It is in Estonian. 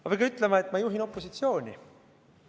Ma pean ütlema, et ma juhin opositsiooni.